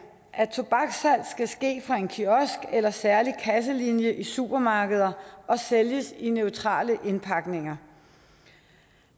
at tobakssalg skal ske fra en kiosk eller særlig kasselinje i supermarkeder og sælges i neutrale indpakninger